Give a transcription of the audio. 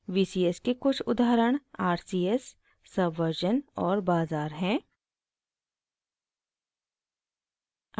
vcs के कुछ उदाहरण rcs subversion और bazaar हैं